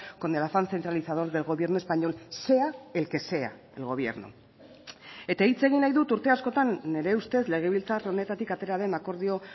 con el afán centralizador del gobierno español sea el que sea el gobierno eta hitz egin nahi dut urte askotan nire ustez legebiltzar honetatik atera den akordio